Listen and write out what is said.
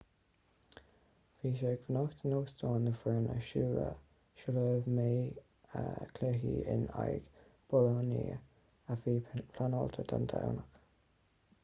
bhí sé ag fanacht in óstán na foirne sula mbeidh cluiche in aghaidh bolonia a bhí pleanáilte don domhnach